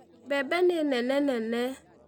Mbembe nĩ nene nene.